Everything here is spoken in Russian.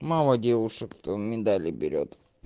мало девушек кто медали берет